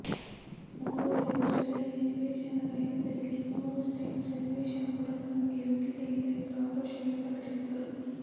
ಮೂರುವರೇ ವರ್ಷದಲ್ಲಿ ನಿವೇಶನ ರಹಿತರಿಗೆ ಮೂರು ಸೆಂಟ್ಸ್ ನಿವೇಶನ ಕೊಡಲು ನಮಗೆ ಯೋಗ್ಯತೆ ಇಲ್ಲ ಎಂದು ಆಕ್ರೋಶ ವ್ಯಕ್ತ ಪಡಿಸಿದರು